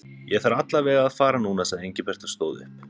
Ég þarf alla vega að fara núna sagði Engilbert og stóð upp.